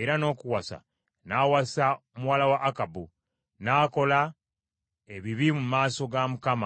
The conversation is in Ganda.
era n’okuwasa n’awasa muwala wa Akabu. N’akola eby’ebibi mu maaso ga Mukama .